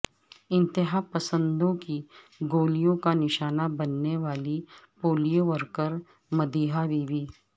انتہاپسندوں کی گولیوں کا نشانہ بننے والی polio worker Madiha be be